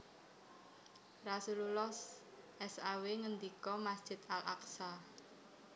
Rasulullah saw ngendika Masjid Al Aqsa